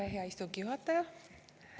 Tere, hea istungi juhataja!